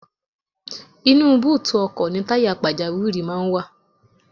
Inú búùtù ọkọ̀ ni táyà pàjáwìrì máa ń wà.